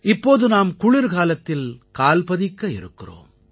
இப்போது நாம் குளிர்காலத்தில் கால்பதிக்க இருக்கிறோம்